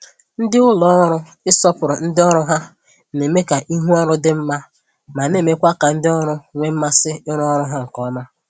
Ndị ụlọ ọrụ ịsọpụrụ ndị ọrụ ha na-eme ka ihu ọrụ dị mma ma na-emekwa ka ndị ọrụ nwee mmasị ịrụ ọrụ ha nke ọma.